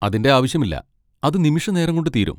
അതിന്റെ ആവശ്യമില്ല, അത് നിമിഷനേരം കൊണ്ട് തീരും.